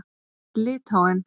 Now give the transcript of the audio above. Litháen